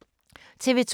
TV 2